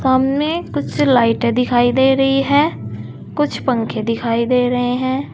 सामने कुछ लाइटें दिखाई दे रही है कुछ पंखे दिखाई दे रहे हैं।